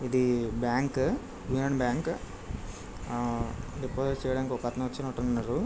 ఇది bank Indian bank . ఆ deposit చెయ్యడానికి ఒకతను వచినట్టున్నారు.